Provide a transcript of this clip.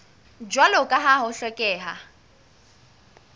jwalo ka ha ho hlokeha